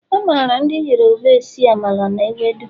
A mara Ndi yoruba esi Amala na ewedu